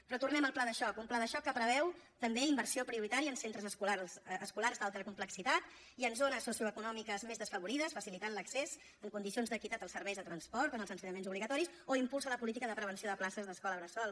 però tornem al pla de xoc un pla de xoc que preveu també inversió prioritària en centres escolars d’alta complexitat i en zones socioeconòmiques més desafavorides facilitant l’accés en condicions d’equitat als serveis de transport en els ensenyaments obligatoris o impulsa la política de prevenció de places d’escola bressol